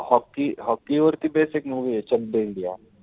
Hockey-hockey वरती based एक movie ए